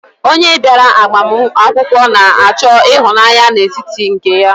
Onye bịara agbamakwụkwọ na-achọ ịhụnanya n'etiti nke ya.